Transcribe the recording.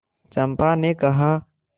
चंपा ने कहा